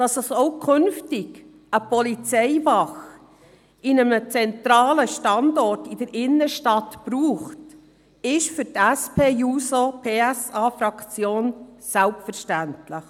Dass es auch künftig eine Polizeiwache an einem zentralen Standort in der Innenstadt braucht, ist für die SP-JUSO-PSA-Fraktion selbstverständlich.